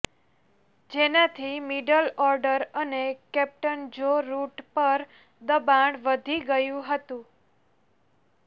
જેનાથી middle order અને captain Joe Root પર દબાણ વધી ગયુ હતુ